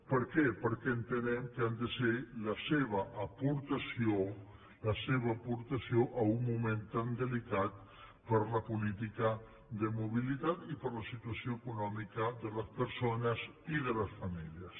per què perquè entenem que han de ser la seva aportació la seva aportació a un moment tan delicat per a la política de mobilitat i per la situació econòmica de les persones i de les famílies